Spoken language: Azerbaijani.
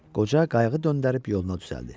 Qoca qayığı döndərib yoluna düzəltdi.